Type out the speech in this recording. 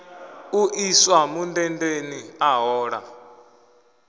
u iswa mundendeni a hola